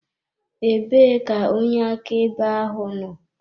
Ebee ka onye akaebe ahụ nọ?